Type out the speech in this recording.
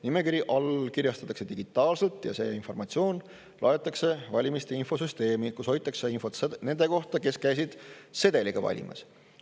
Nimekiri allkirjastatakse digitaalselt ja see informatsioon laetakse valimiste infosüsteemi, kus hoitakse infot nende kohta, kes käisid sedeliga valimas.